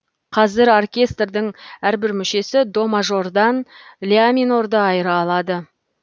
қазір оркестрдің әрбір мүшесі до мажордан ля минорды айыра алады